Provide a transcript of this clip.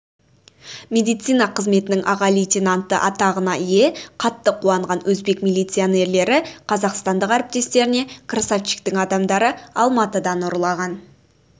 медицина қызметінің аға лейтенанты атағына ие қатты қуанған өзбек милиционерлері қазақстандық әріптестеріне красавчиктің адамдары алматыдан ұрлаған